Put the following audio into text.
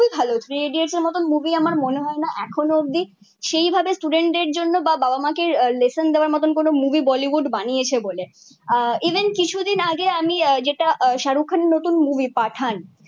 খুবই ভালো three idiots এর মতো মুভি আমার মনে হয়না এখনো অব্দি সেই ভাবে স্টুডেন্টদের জন্য বা বাবা মা কে লেসন দেয়ার মতো মুভি বলিউড বানিয়েছে বলে আহ ইভেন কিছু দিন আগে আমি যেটা শাহরুখ খানের মুভি পাঠান